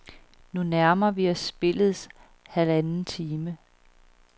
Nu nærmer vi os spillets halvanden time.